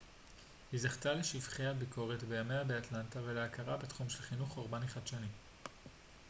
היא זכתה לשבחי הביקורת בימיה באטלנטה ולהכרה בתחום של חינוך אורבני חדשני